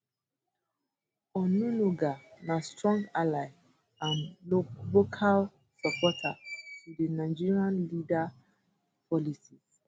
onunuga na strong ally and vocal supporter to di nigerian leader policies